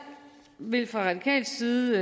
vil fra radikal side